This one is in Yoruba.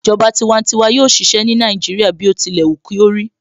Ìjọba tiwantiwa yóò ṣiṣẹ́ ní Nàìjíríà bí ó tilẹ̀ wù kí ó rí